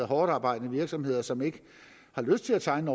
hårdtarbejdende virksomheder som ikke har lyst til at tegne